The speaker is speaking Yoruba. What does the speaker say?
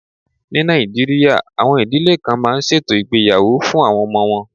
Ní Nàìjíríà, àwọn ìdílé kan máa ń ṣètò ìgbéyàwó fún àwọn ọmọ wọn.